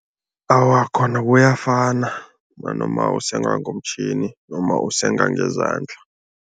Awa, khona kuyafana nanoma usenga ngomtjhini noma usenga ngezandla.